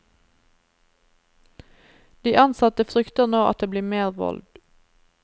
De ansatte frykter nå at det blir mer vold.